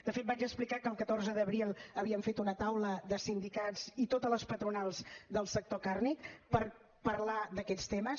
de fet vaig explicar que el catorze d’abril havíem fet una taula de sindicats i totes les patronals del sector càrnic per parlar d’aquests temes